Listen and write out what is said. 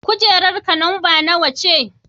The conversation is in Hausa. Kujerarka lamba nawa ce?